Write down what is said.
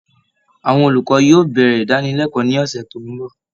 Àwọn olùkọ́ yóò bẹ̀rẹ̀ ìdánilẹ́kọ̀ọ́ ní ọ̀sẹ̀ tó ń bọ̀